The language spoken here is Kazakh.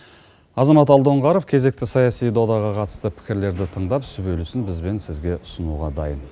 азамат алдоңғаров кезекті саяси додаға қатысты пікірлерді тыңдап сүбелісін біз бен сізге ұсынуға дайын